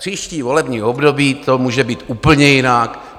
Příští volební období to může být úplně jinak.